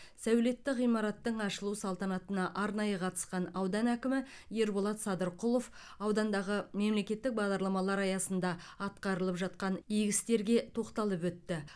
сәулетті ғимараттың ашылу салтанатына арнайы қатысқан аудан әкімі ерболат садырқұлов аудандағы мемлекеттік бағдарламалар аясында атқарылып жатқан игі істерге тоқталып өтті